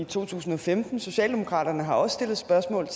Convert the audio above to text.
to tusind og femten socialdemokraterne har også stillet spørgsmål